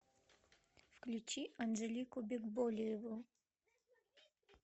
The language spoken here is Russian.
включи анжелику бекболиеву